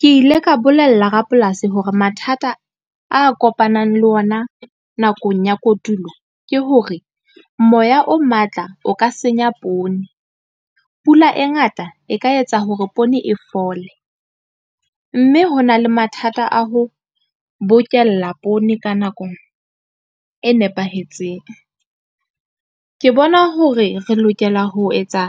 Ke ile ka bolella rapolasi hore mathata a kopanang le ona nakong ya kotulo ke hore, moya o matla o ka senya poone, pula e ngata e ka etsa hore poone e fole, mme ho na le mathata a ho bokella poone ka nako e nepahetseng. Ke bona hore re lokela ho etsa